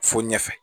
Fo ɲɛfɛ